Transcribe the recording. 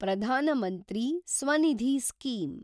Pradhan Mantri Svanidhi scheme